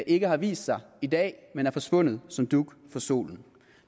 ikke har vist sig i dag men er forsvundet som dug for solen